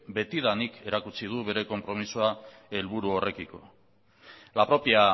betidanik erakutsi du bere konpromisoa helburu horrekiko la propia